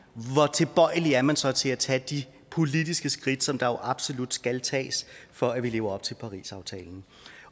tilbøjelig er man så til at tage de politiske skridt som der jo absolut skal tages for at vi lever op til parisaftalen